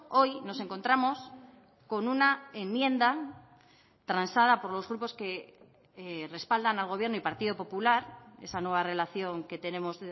hoy nos encontramos con una enmienda transada por los grupos que respaldan al gobierno y partido popular esa nueva relación que tenemos